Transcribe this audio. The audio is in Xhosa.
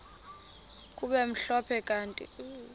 kube mhlophe kanti